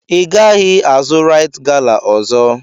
Ị gaghị azụ raịt gala ọzọ!